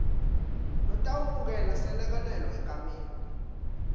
lotawemukela selekelelo egameni